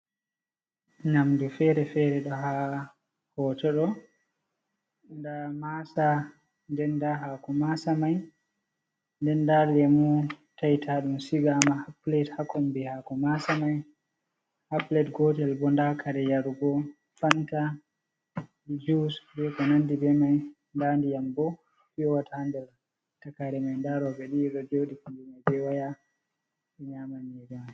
Nyamdu feere feere, ɗo ha hoto ɗo, nda maasa den nda haako masamai, den nda leemu taitaɗum sigama ha pilet ha konbi haako maasa mai, ha pilet gotel bo nda kare yarugo, fanta, jus, be ko nandi be mai. Nda ndiyam bo piyowata ha nder takaire mai nda rooɓe ɗo jooɗi be waya.